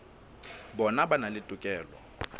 bona ba na le tokelo